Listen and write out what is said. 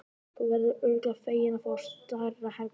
Þú verður örugglega feginn að fá stærra herbergi.